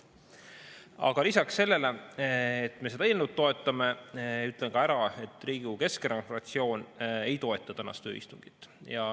Aga lisaks sellele, et me seda eelnõu toetame, ütlen ka ära, et Riigikogu Keskerakonna fraktsioon ei toeta tänast ööistungit.